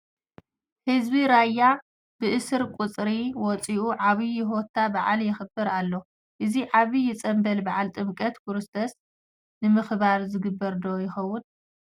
ህዝቢ ራያ ብእስር ቁፅሪ ወፂኡ ብዓብዪ ሆታ በዓል የኽብር ኣሎ፡፡ እዚ ዓብዪ ፅንብል በዓል ጥምቀተ ክርስቶስ ንምኽባር ዝግበር ዶ እኸውን?